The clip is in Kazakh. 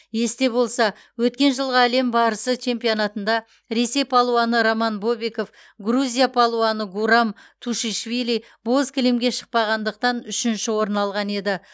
есте болса өткен жылғы әлем барысы чемпионатында ресей палуаны роман бобиков грузия палуаны гурам тушишвили боз кілемге шықпағандықтан үшінші орын алған еді